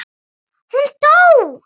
Hún dó!